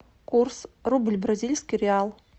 курс рубль бразильский реал